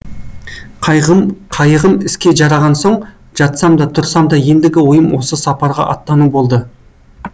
қайығым іске жараған соң жатсам да тұрсам да ендігі ойым осы сапарға аттану болды